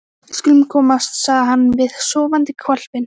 Við skulum komast, sagði hann við sofandi hvolpinn.